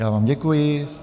Já vám děkuji.